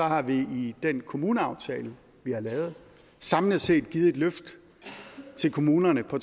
har vi i den kommuneaftale vi har lavet samlet set givet et løft til kommunerne på